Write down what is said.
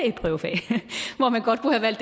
hvor man godt kunne have